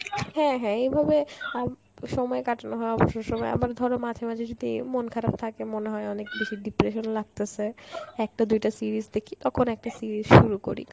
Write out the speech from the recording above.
হ্যাঁ হ্যাঁ এভাবে আম~ সময় কাটানো হয় অবসর সময়, আবার ধরো মাঝে মাঝে যদি মন খারাপ থাকে মনে হয় অনেক বেশি depression লাগতেসে, একটা দুইটা series দেখি তখন একটা series শুরু করি